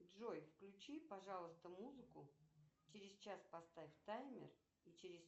джой включи пожалуйста музыку через час поставь таймер и через